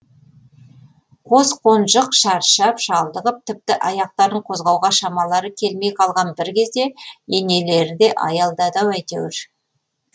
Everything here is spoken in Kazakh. қос қонжық шаршап шалдығып тіпті аяқтарын қозғауға шамалары келмей қалған бір кезде енелері де аялдады ау әйтеуір